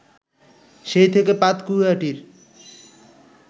সেই থেকে পাতকুয়াটির